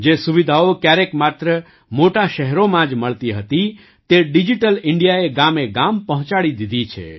જે સુવિધાઓ ક્યારેક માત્ર મોટાં શહેરોમાં જ મળતી હતી તે ડિજિટલ ઇન્ડિયાએ ગામેગામ પહોંચાડી દીધી છે